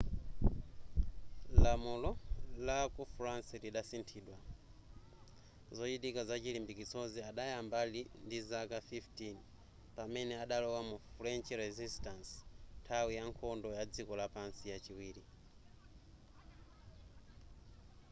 lamulo la ku france lidasinthidwa zochitika zachilimbikitsozi adayamba ali ndizaka 15 pamene adalowa mu french resistance nthawi ya nkhondo ya dziko lapansi yachiwiri